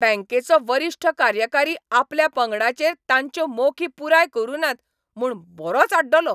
बँकेचो वरिश्ठ कार्यकारी आपल्या पंगडाचेर तांच्यो मोखी पुराय करु नात म्हूण बरोच आड्डलो.